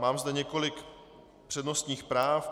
Mám zde několik přednostních práv.